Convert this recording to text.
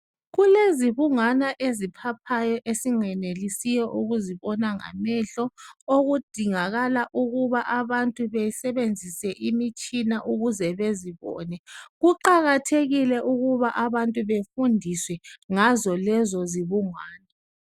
Kulezibungwana eziphaphayo esingenelisiyo ukuzibona ngamehlo okudingakala ukubana abantu besebenzise imitshina ukuze bezibone. Kuqakathekile ukuba abantu befundiswe ngazo lezo zibungwana.